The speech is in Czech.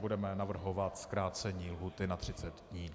Budeme navrhovat zkrácení lhůty na 30 dnů.